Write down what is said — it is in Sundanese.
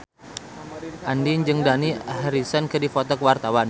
Andien jeung Dani Harrison keur dipoto ku wartawan